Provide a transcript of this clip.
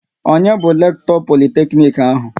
Onye bu Lekto Politeknic ahụ?